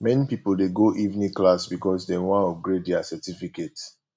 many pipo dey go evening class because dem wan upgrade their certificate